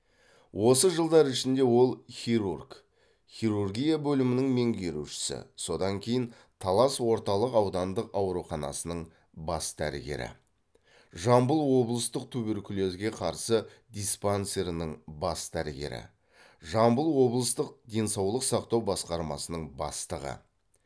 осы жылдар ішінде ол хирург хирургия бөлімінің меңгерушісі содан кейін талас орталық аудандық ауруханасының бас дәрігері жамбыл облыстық туберкулезге қарсы диспансерінің бас дәрігері жамбыл облыстық денсаулық сақтау басқармасының бастығы